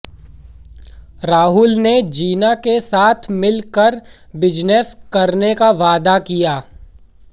राहुल ने जीना के साथ मिलकर बिजनेस करने का वादा किया